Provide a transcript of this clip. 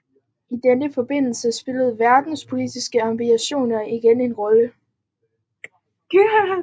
I denne forbindelse spille verdenspolitiske ambitioner igen en rolle